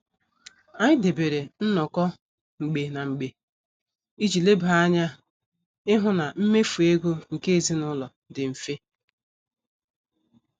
Anyị debere nnoko mgbe na mgbe iji leba anya ịhụ na mmefu ego nke ezinụlọ dị mfe.